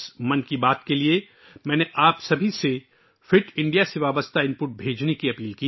اس 'من کی بات' کے لیے، میں نے آپ سب سے درخواست کی تھی کہ وہ فٹ انڈیا سے متعلق معلومات بھیجیں